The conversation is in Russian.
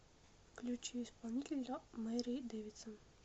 включи исполнителя мэри дэвидсон